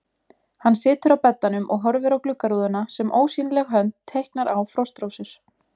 Hann situr á beddanum og horfir á gluggarúðuna sem ósýnileg hönd teiknar á frostrósir.